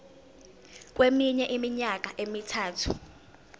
kweminye iminyaka emithathu